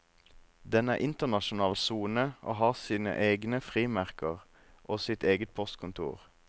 Den er internasjonal sone og har sine egne frimerker og sitt eget postkontor.